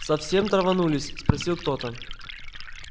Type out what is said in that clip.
совсем траванулись спросил кто-то